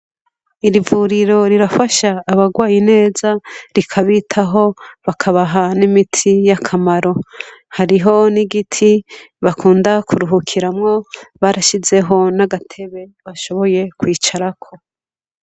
Iri vuriro rirafasha abagwaye neza, rikabitaho, bakabaha n'imiti y'akamaro. Hariho n'igiti bakunda kuruhukiramwo barashizeho n'agatebe bashoboye kwicarako